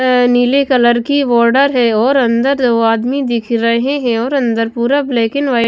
नीले कलर की बॉर्डर है और अंदर दो आदमी दिख रहे हैं और अंदर पूरा ब्लैक एंड वाइट --